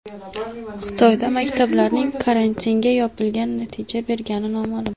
Xitoyda maktablarning karantinga yopilgani natija bergani noma’lum.